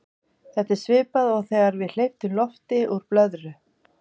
þetta er svipað og þegar við hleypum lofti úr blöðru